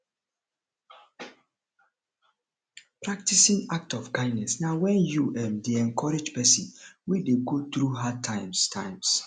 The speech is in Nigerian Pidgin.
practicing act of kindness na when you um de encourage persin wey de go through hard times times